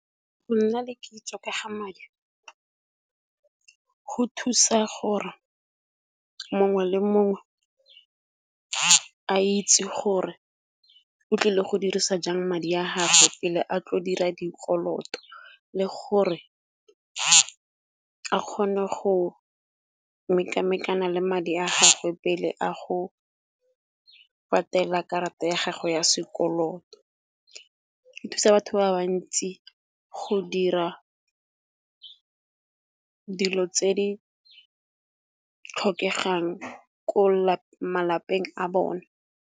Go nna le kitso ka ga madi go thusa gore mongwe le mongwe a itse gore otlile go dirisa jang madi a gagwe pele a tlo dira dikoloto. Le gore a kgone go mekamekana le madi a gagwe pele a go patela karata ya gago ya sekoloto. Di thusa batho ba bantsi go dira dilo tse di tlhokegang ko malapeng a bone.